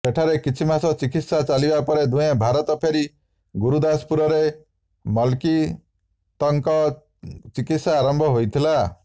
ସେଠାରେ କିଛି ମାସ ଚିକିତ୍ସା ଚାଲିବା ପରେ ଦୁହେଁ ଭାରତ ଫେରି ଗୁରୁଦାସପୁରରେ ମଲକିତ୍ଙ୍କୁ ଚିକିତ୍ସା ଆରମ୍ଭ ହୋଇଥିଲା